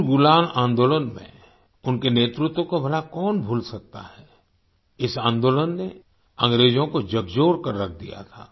उलगुलान आंदोलन में उनके नेतृत्व को भला कौन भूल सकता है इस आंदोलन ने अंग्रेजो को झकझोर कर रख दिया था